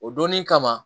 O donni kama